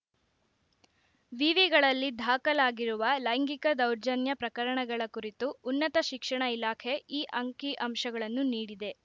ವಿವಿಗಳಲ್ಲಿ ದಾಖಲಾಗಿರುವ ಲೈಂಗಿಕ ದೌರ್ಜನ್ಯ ಪ್ರಕರಣಗಳ ಕುರಿತು ಉನ್ನತ ಶಿಕ್ಷಣ ಇಲಾಖೆ ಈ ಅಂಕಿಅಂಶಗಳನ್ನು ನೀಡಿದೆ